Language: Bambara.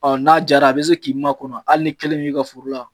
Ɔn n'a jara a be se k'i ma kɔnɔ . Hali n'i kelen b'i ka foro la.